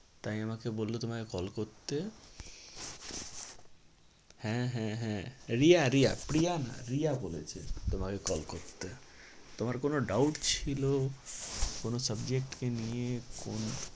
তাই আমাকে বললো তোমাকে call করতে হ্যাঁ হ্যাঁ হ্যাঁ রিয়া রিয়া প্রিয়া না রিয়া বলেছে তোমাকে call করতে। তোমার কোনো doubt ছিল কোনো subject নিয়ে কোন